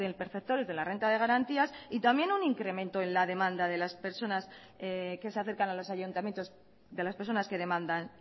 perceptores de la renta de garantías y también un incremento en la demanda de las personas que se acercan a los ayuntamientos de las personas que demandan